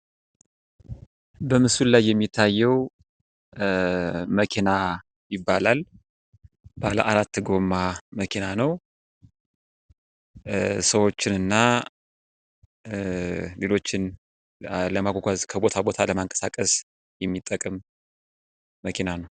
በምስሉ ላይ የሚታየው መኪና ይባላል። ባለ አራት ጎማ መኪና ነው። ሰዎችን እና ነገሮችን ለማጓጓዝ ከቦታ ቦታ ለማንቀሳቀስ የሚጠቅም መኪና ነው።